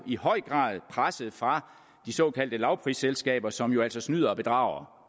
i høj grad presset fra de såkaldte lavprisselskaber som jo altså snyder og bedrager